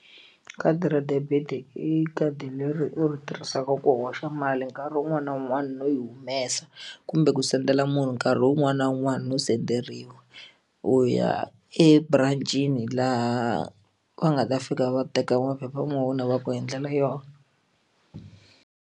Khadi ra debit i khadi leri u ri tirhisaka ku hoxa mali nkarhi wun'wani na wun'wani no yi humesa kumbe ku sendela munhu nkarhi wun'wani na wun'wani no senderiwa u ya eburancini laha va nga ta fika va teka maphepha ya wena va ku ndlela yona.